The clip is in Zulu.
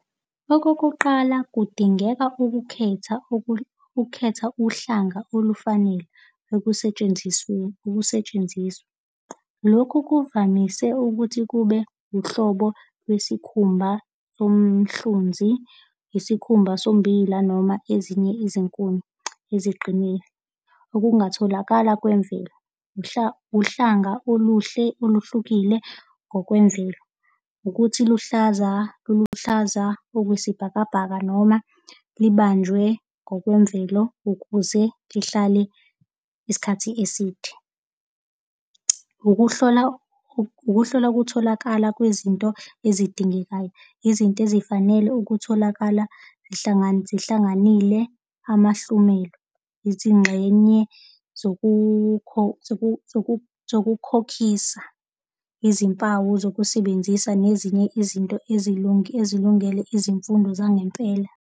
Okokuqala, kudingeka ukukhetha ukukhetha uhlanga olufanele ekusentshenzisweni, ukusetshenziswa. Lokhu kuvamise ukuthi kube uhlobo lwesikhumba somhlunzi, isikhumba sombila, noma ezinye izinkuni eziqinile okungatholakala kwemvelo. Uhlanga oluhle oluhlukile ngokwemvelo. Ukuthi luhlaza oluhlaza okwesibhakabhaka noma libanjwe ngokwemvelo ukuze lihlale isikhathi eside. Ukuhlola, ukuhlola kutholakala kwezinto ezidingekayo, izinto ezifanele ukutholakala zihlanganile amahlumelo. Izingxenye zokukhokhisa izimpawu zokusebenzisa nezinye izinto ezilungele izimfundo zangempela.